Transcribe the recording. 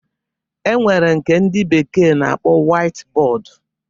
E nwere nke ndị bekee na-akpọ wait bọọdu